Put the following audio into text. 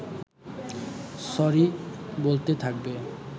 sorry বলতে থাকবে